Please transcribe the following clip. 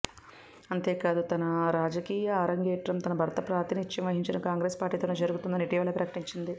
అంతేకాదు తన రాజకీయా ఆరంగేట్రం తన భర్త ప్రాతినిద్యం వహించిన కాంగ్రెస్ పార్టీతోనే జరుగుతుందని ఇటీవలే ప్రకటించింది